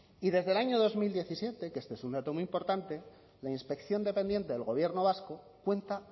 y desde el año dos mil diecisiete que este es un dato muy importante la inspección dependiente del gobierno vasco cuenta